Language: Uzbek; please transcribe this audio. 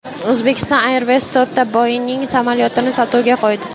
Uzbekistan Airways to‘rtta Boeing samolyotini sotuvga qo‘ydi.